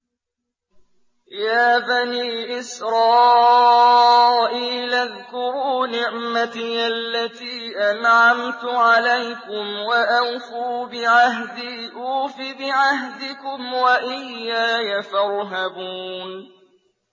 يَا بَنِي إِسْرَائِيلَ اذْكُرُوا نِعْمَتِيَ الَّتِي أَنْعَمْتُ عَلَيْكُمْ وَأَوْفُوا بِعَهْدِي أُوفِ بِعَهْدِكُمْ وَإِيَّايَ فَارْهَبُونِ